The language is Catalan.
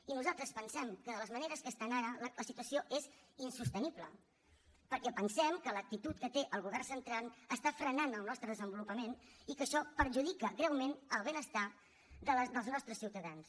i nosaltres pensem que de la manera que estem ara la situació és insostenible perquè pensem que l’actitud que té el govern central està frenant el nostre desenvolupament i que això perjudica greument el benestar dels nostres ciutadans